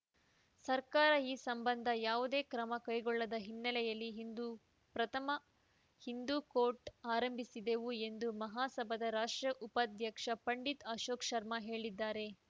ಸರ್ಕಾರ ಈ ಸಂಬಂಧ ಯಾವುದೇ ಕ್ರಮ ಕೈಗೊಳ್ಳದ ಹಿನ್ನೆಲೆಯಲ್ಲಿ ಇಂದು ಪ್ರಥಮ ಹಿಂದೂ ಕೋರ್ಟ್‌ ಆರಂಭಿಸಿದೆವು ಎಂದು ಮಹಾಸಭಾದ ರಾಷ್ಟ್ರೀಯ ಉಪಾಧ್ಯಕ್ಷ ಪಂಡಿತ್‌ ಅಶೋಕ್‌ ಶರ್ಮಾ ಹೇಳಿದ್ದಾರೆ